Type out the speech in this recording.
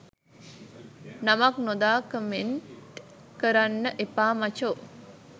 නමක් නොදා කමෙන්ට් කරන්න එපා මචෝ.